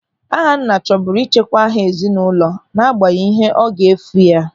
Ahanna chọburu ịchekwa aha ezinụlọ n'agbanyeghị ihe ọ ga-efu ya.